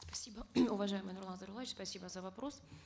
спасибо уважаемый нурлан зайроллаевич спасибо за вопрос